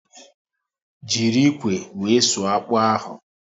Jiri ikwe wee sụọ akpụ ahụ